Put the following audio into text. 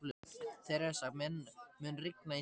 Theresa, mun rigna í dag?